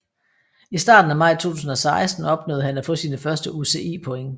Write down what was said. I starten af maj 2016 opnåede han at få sine første UCI point